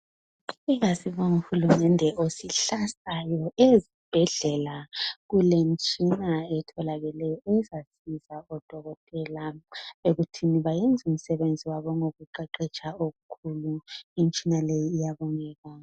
Asibongeni uhulumende osixhasayo ezibhedlela kulemitshina etholakeleyo ezancedisa odokotela ukuba benze umsebenzi wabo ngokuqeqetsha okukhulu. Imitshina leyi iyabongeka.